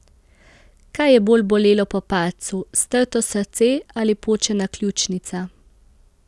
Kaj je bolj bolelo po padcu, strto srce ali počena ključnica?